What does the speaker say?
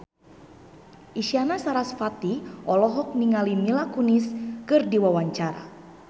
Isyana Sarasvati olohok ningali Mila Kunis keur diwawancara